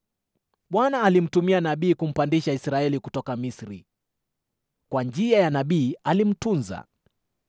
Bwana alimtumia nabii kumpandisha Israeli kutoka Misri, kwa njia ya nabii alimtunza.